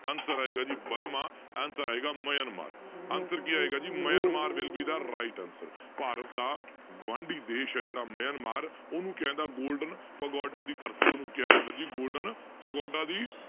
Answer ਆਏਗਾ ਜੀ Burma answer ਆਏਗਾ ਮਿਆਂਮਾਰ answer ਕੀ ਆਏਗਾ ਜੀ Myanmar will be the right answer Bharat ਦਾ ਗੁਆਂਢੀ ਦੇਸ ਹੈ ਜਿਹੜਾ ਮਿਆਂਮਾਰ ਉਹਨੂੰ golden ਪਗੋਡਾ ਦੀ ਧਰਤੀ ਉਹਨੂੰ ਕਿਹਾ ਜਾਂਦਾ ਜੀ golden ਪਗੋਡਾ ਦੀ